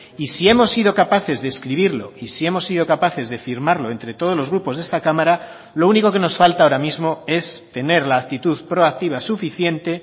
y si hemos sido capaces de escribirlo y si hemos sido capaces de firmarlo entre todos los grupos de esta cámara lo único que nos falta ahora mismo es tener la actitud proactiva suficiente